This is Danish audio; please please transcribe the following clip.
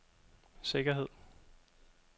sikkerhed